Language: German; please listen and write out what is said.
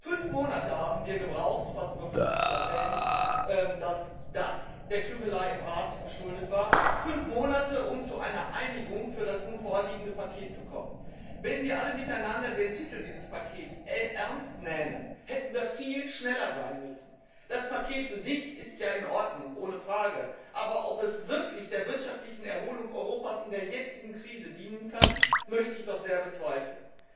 Fünf Monate haben wir gebraucht fast überflüssig zu erwähnen, dass das der Klügelei im Rat geschuldet war fünf Monate, um zu einer Einigung für das nun vorliegende Paket zu kommen. Wenn wir alle miteinander den Titel dieses Pakets ernst nähmen, hätten wir viel schneller sein müssen. Das Paket für sich ist ja in Ordnung, ohne Frage, aber ob es wirklich der wirtschaftlichen Erholung Europas in der jetzigen Krise dienen kann, möchte ich doch sehr bezweifeln.